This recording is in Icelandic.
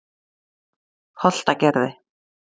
Holtagerði